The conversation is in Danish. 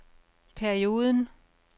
perioden